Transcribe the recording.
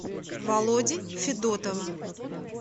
володи федотова